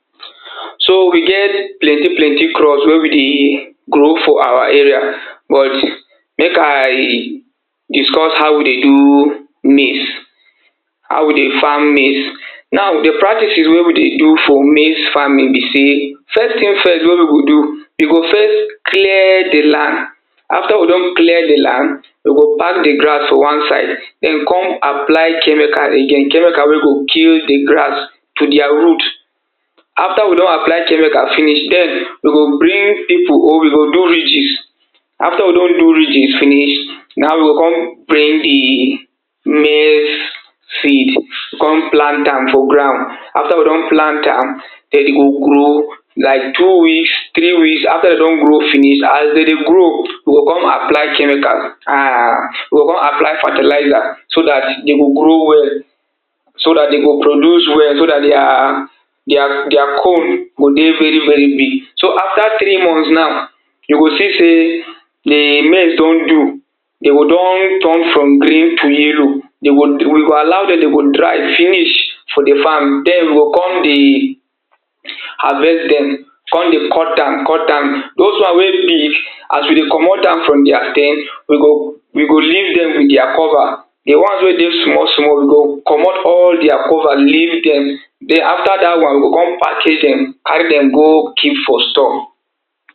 So we get plenty plenty crops wey we dey grow for our area but make I discuss how we dey do maize how we dey farm maize. Now di practices wey we dey do for maize farming be sey first thing first we go do, we go first clear di land After we don clear di land, we go pack di grass for one side then we come apply chemical again, chemical wey go kill di grass to their root After we don apply chemical finish, then we go bring pipo or we go do ridges after we don do ridges finish na we go come bring di maize seed come plant am for ground. After we don plant am then e go grow like two weeks, three weeks, after e don grow finish, as dem dey grow we go come apply chemical um we go come apply fertilizer so dat dem go grow well so dat dem go produce well so dat their, their, their comb go dey very very big. So after three months na, you go see sey di maize don do, dem don turn from green to yellow dem go we go allow dem, dem go dry finish for di farm, then we go come dey harvest dem, come dey cut am cut am, those one wey big as we dey comot am from their stem, we go we go leave dem with their cover. Di ones wey dey small small we go comot all their cover leave dem then after dat one we go come package am carry dem go keep for store